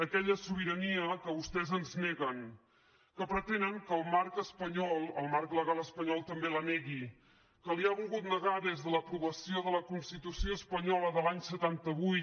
aquella sobirania que vostès ens neguen que pretenen que el marc espanyol el marc legal espanyol també la negui que li ha volgut negar des de l’aprovació de la constitució espanyola de l’any setanta vuit